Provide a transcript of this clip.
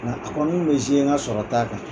Nka a kɔni bɛ n ka sɔrɔ ta kan.